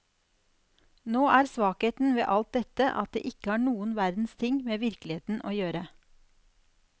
Nå er svakheten ved alt dette at det ikke har noen verdens ting med virkeligheten å gjøre.